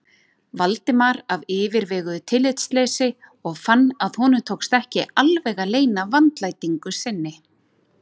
Valdimar af yfirveguðu tillitsleysi og fann að honum tókst ekki alveg að leyna vandlætingu sinni.